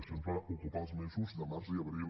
això ens va ocupar els mesos de març i abril